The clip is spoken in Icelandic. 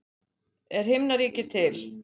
Er himnaríki til?